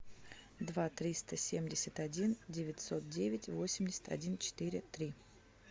два триста семьдесят один девятьсот девять восемьдесят один четыре три